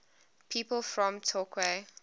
people from torquay